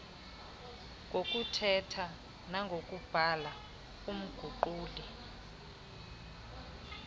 ngokuthetha nangokubhala umguquli